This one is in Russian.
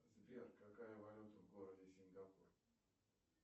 сбер какая валюта в городе сингапур